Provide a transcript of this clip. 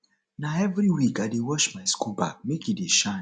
na every week i dey wash my school bag make e dey shine